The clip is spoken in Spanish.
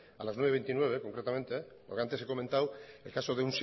a las nueve veintinueve concretamente porque antes he comentado el caso